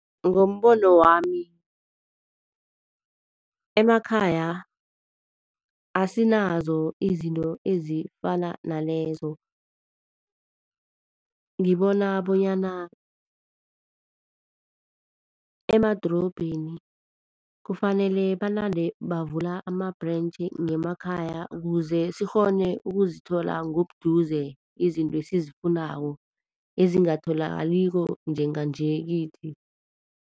Ngombono wami emakhaya asinazo izinto ezifana nalezo. Ngibona bonyana emadorobheni kufanele banande bavula amabhurentji ngemakhaya ukuze sikghone ukuzithola ngobuduze izinto esizifunako ezingatholakaliko njenganje kithi.